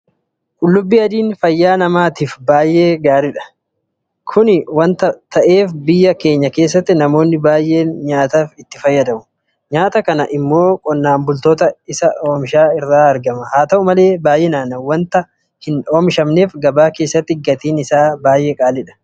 Qullubbii adiin fayyaa namaayiif baay'ee gaariidha. Kana waanta ta'eef biyya keenya keessatti namoonni baay'een nyaataaf itti fayyadamu. Nyaata kana immoo qonnaan bultoota isa oomishan irraa argama. Haa ta'u malee baay'inaan waanta hin oomishamneef gabaa keessatti gatiin isaa qaala'aadha.